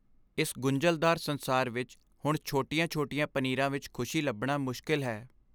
ਇਸ ਗੁੰਝਲਦਾਰ ਸੰਸਾਰ ਵਿੱਚ ਹੁਣ ਛੋਟੀਆਂ ਛੋਟੀਆਂ ਪਨੀਰਾਂ ਵਿੱਚ ਖ਼ੁਸ਼ੀ ਲੱਭਣਾ ਮੁਸ਼ਕਿਲ ਹੈ